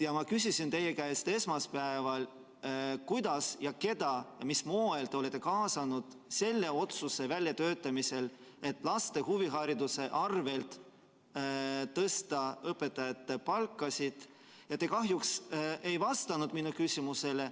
Ma küsisin teie käest esmaspäeval, kuidas ja keda ja mis moel te olete kaasanud selle otsuse väljatöötamisel, et laste huvihariduse arvel tõsta õpetajate palkasid, ja te kahjuks ei vastanud minu küsimusele.